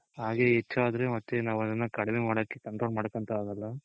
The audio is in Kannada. ಆಗೇ ಹೆಚದ್ರೆ ಮತ್ತೆ ನಾವ್ ಅದ್ದನ ಕಡಿಮೆ ಮಾಡೋಕೆ control ಮಾಡೋಕೆ ಅಂತು ಆಗೋಲ್ಲ